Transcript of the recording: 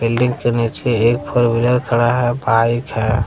Building के नीचे four wheeler खड़ा है बाइक है।